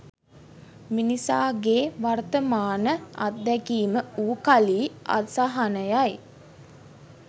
මිනිසාගේ වර්තමාන අද්දැකීම වූ කලී අසහනයයි.